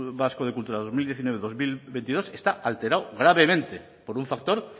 vasco de cultura dos mil diecinueve dos mil veintidós está alterado gravemente por un factor